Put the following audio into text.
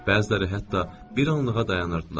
Bəziləri hətta bir anlığa dayanırdılar.